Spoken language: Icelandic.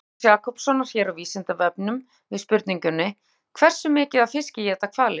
Í svari Jakobs Jakobssonar hér á Vísindavefnum, við spurningunni Hversu mikið af fiski éta hvalir?